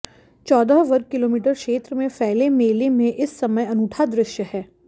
चौदह वर्ग किलोमीटर क्षेत्र में फैले मेले में इस समय अनूठा दृश्य है